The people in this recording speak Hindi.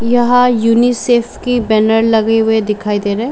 यहाँ युनि सेफ की बैनर लगे हुए दिखाई दे रहे।